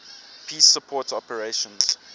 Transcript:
peace support operations